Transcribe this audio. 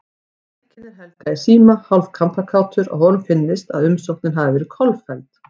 Tilkynnir Helga í síma, hálf kampakátur að honum finnst, að umsóknin hafi verið kolfelld.